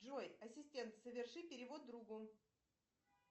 джой ассистент соверши перевод другу